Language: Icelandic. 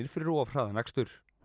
fyrir of hraðan akstur